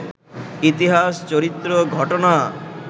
ইতিহাস, চরিত্র, ঘটনা